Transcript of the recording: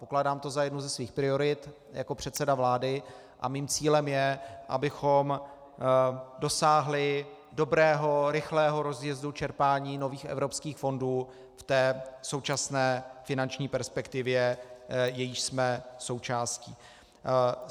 Pokládám to za jednu ze svých priorit jako předseda vlády a mým cílem je, abychom dosáhli dobrého, rychlého rozjezdu čerpání nových evropských fondů v té současné finanční perspektivě, jejíž jsme součástí.